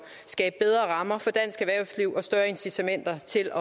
skabe bedre rammer for dansk erhvervsliv og større incitamenter til